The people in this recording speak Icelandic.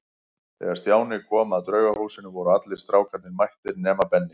Þegar Stjáni kom að Draugahúsinu voru allir strákarnir mættir nema Benni.